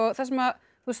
þar sem